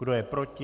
Kdo je proti?